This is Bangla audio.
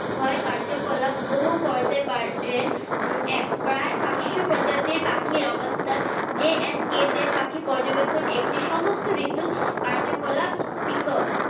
হয় কার্যকলাপ উপভোগ করতে পারেন উম এক প্রায় পাচশো প্রজাতির পাখির অবস্থান JNK তে পাখি পর্যবেক্ষণ একটি সমস্ত ঋতু কার্যকলাপ